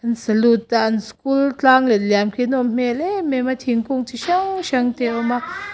an salute a an school tlang let liam khi a nawm hmel em em a thingkung chi hrang hrang te a awm a.